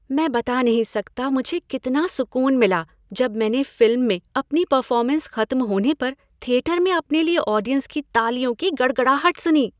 मैं बता नहीं सकता मुझे कितना सुकून मिला जब मैंने फ़िल्म में अपनी परफ़ॉर्मेंस खत्म होने पर थियेटर में अपने लिए ऑडियंस की तालियों की गड़गड़ाहट सुनी।